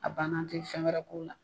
A banna an tɛ fɛn wɛrɛ k'o la.